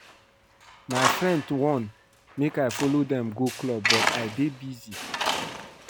My friends wan make I follow dem go club but I dey busy